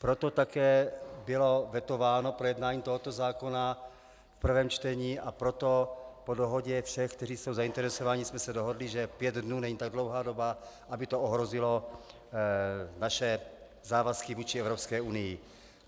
Proto také bylo vetováno projednání tohoto zákona v prvém čtení a proto po dohodě všech, kteří jsou zainteresováni, jsme se dohodli, že pět dnů není tak dlouhá doba, aby to ohrozilo naše závazky vůči Evropské unii.